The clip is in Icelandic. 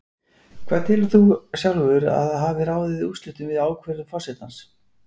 Hvað telur þú sjálfur að hafi ráðið úrslitum við ákvörðun forsetans?